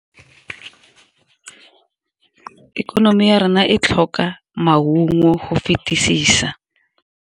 Ikonomi ya rena e tlhoka maungo go fetisisa.